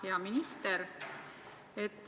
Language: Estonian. Hea minister!